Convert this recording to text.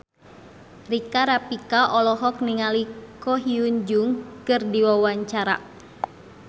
Rika Rafika olohok ningali Ko Hyun Jung keur diwawancara